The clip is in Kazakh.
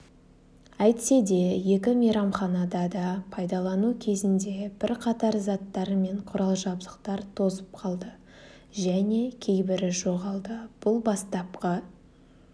әйтсе де екі мейрамханада да пайдалану кезінде бірқатар заттар мен құрал-жабдықтар тозып қалды және кейбірі жоғалды бұл бастапқы